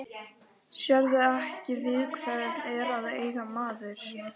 Sérðu ekki við hvern er að eiga maður?